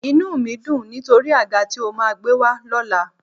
Inú mi ń dùn nítorí àga tí o máa gbé wá lọ́la